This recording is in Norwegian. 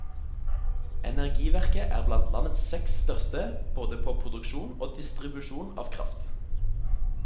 Energiverket er blant landets seks største både på produksjon og distribusjon av kraft.